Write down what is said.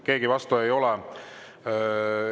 Keegi vastu ei ole.